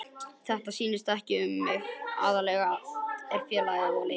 Þetta snýst ekki um mig, aðalatriðið er félagið og leikmennirnir.